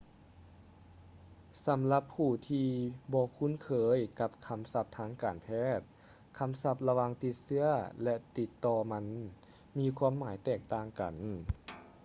ສຳລັບຜູ້ທີ່ບໍ່ຄຸ້ນເຄີຍກັບຄຳສັບທາງການແພດ ຄຳສັບລະຫວ່າງຕິດເຊື້ອ ແລະ ຕິດຕໍ່ມັນມີຄວາມໝາຍແຕກຕ່າງກັນ